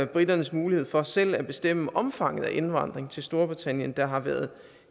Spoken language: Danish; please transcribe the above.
briternes mulighed for selv at bestemme omfanget af indvandringen til storbritannien der har været